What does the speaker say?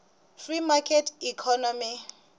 free market economy